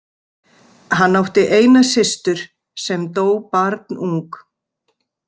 Hann átt eina systur, sem dó barnung.